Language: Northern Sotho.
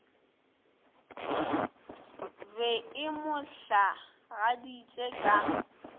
be e mo hlagaditše ka